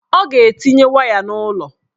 Ọ ga-etinye waya n'ụlọ